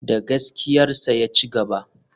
Da gaskiyarsa ya cigaba.